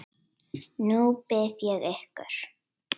Nú bið ég ykkur